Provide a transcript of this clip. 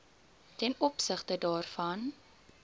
ten opsigte daarvan